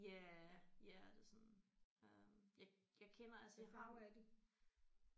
Ja ja det er sådan øh jeg jeg kender altså jeg har jo en